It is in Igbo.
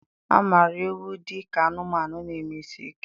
A maara ewu dị ka anụmanụ na-eme isi ike.